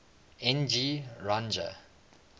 n g rjuna